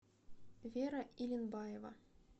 вера илинбаева